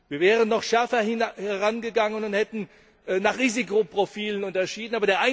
Wir wären noch schärfer herangegangen und hätten nach Risikoprofilen unterschieden.